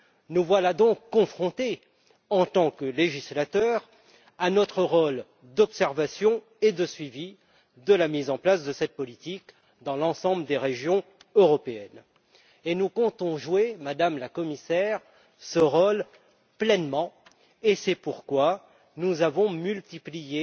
Nous voilà donc confrontés, en tant que législateurs, à notre rôle d'observation et de suivi de la mise en place de cette politique dans l'ensemble des régions européennes. Nous comptons jouer pleinement ce rôle, Madame la Commissaire, et c'est pourquoi nous avons multiplié